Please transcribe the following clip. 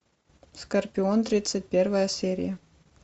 скорпион тридцать первая серия